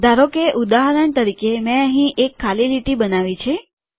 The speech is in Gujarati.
ધારોકે ઉદાહરણ તરીકે મેં અહી એક ખાલી લીટી બનાવી છે